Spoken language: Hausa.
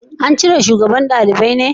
An cire shugaban dalibai ne?